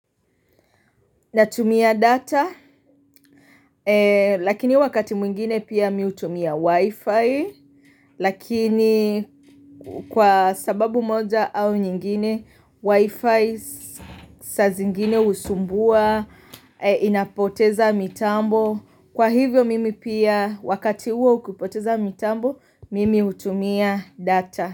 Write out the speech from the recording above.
Natumia data, lakini wakati mwingine pia mi hutumia wifi, lakini kwa sababu moja au nyingine, wifi saa zingine husumbua, inapoteza mitambo, kwa hivyo mimi pia wakati huo ukipoteza mitambo, mimi hutumia data.